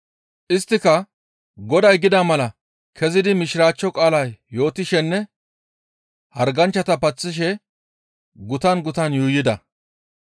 Isttika Goday gida mala kezidi Mishiraachcho qaalaa yootishenne harganchchata paththishe gutan gutan yuuyida.